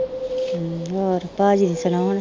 ਹਮ ਹੋਰ ਭਾਜੀ ਸੁਣਾ